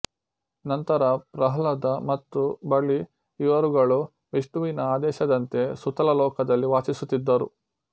ನಂತರ ಪ್ರಹ್ಲಾದ ಮತ್ತು ಬಲಿ ಇವರುಗಳು ವಿಷ್ಣುವಿನ ಆದೇಶದಂತೆ ಸುತಲ ಲೋಕದಲ್ಲಿ ವಾಸಿಸುತ್ತಿದ್ದರು